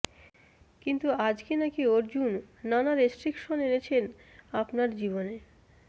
কিন্তু আজকে নাকি অর্জুন নানা রেস্ট্রিকশন এনেছেন আপনার জীবনে